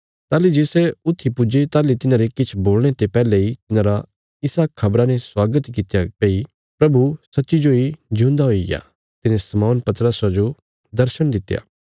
ताहली जे सै ऊथी पुज्जे ताहली तिन्हारे किछ बोलणे ते पैहले इ तिन्हारा इसा खबरा ने स्वागत कित्या भई प्रभु सच्ची जोई जिऊंदा हुईग्या तिने शमौन पतरसा जो दर्शण दित्या